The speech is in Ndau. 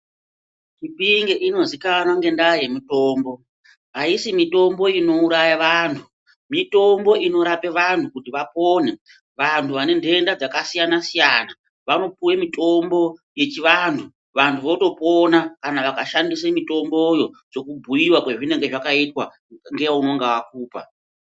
Chipinge ino zikanwa ngenda ye mitombo ayisi mitombo ino uraya vantu mitombo ino rape vanhu kuti vapone vantu vane dhenda dzaka siyana siyana vano puwe mitombo yechi vantu vanhu voto pona kana vaka shandise mitomboyo seku bhuyiwa kwe zvinenge zvaka itwa nge unonga akupa.